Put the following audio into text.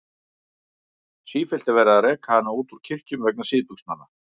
Sífellt er verið að reka hana út úr kirkjum vegna síðbuxnanna.